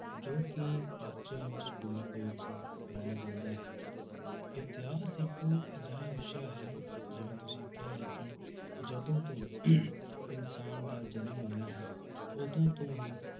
ਜੋ ਕਿ ਬੱਚਿਆਂ ਨੂੰ schools ਦੇ ਵਿੱਚ ਪੜ੍ਹਾਇਆ ਜਾਂਦਾ ਹੈ, ਇਤਿਹਾਸ ਇੱਕ ਅਜਿਹਾ ਵਿਸ਼ਾ ਹੈ ਜਿਵੇਂ ਤੁਸੀਂ ਕਿਹਾ ਹੈ ਕਿ ਜਦੋਂ ਤੋਂ ਇਨਸਾਨ ਦਾ ਜਨਮ ਹੋਇਆ ਹੈ ਉਦੋਂ ਤੋਂ ਹੀ,